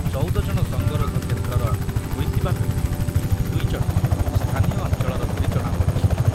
ଚଉଦ ଜଣ ସଙ୍ଗରୋଧ କେନ୍ଦ୍ରର ହୋଇଥିବାବେଳେ ଦୁଇ ଜଣ ସ୍ଥାନୀୟ ଅଞ୍ଚଳର ବୋଲି ଜଣାପଡ଼ିଛି ।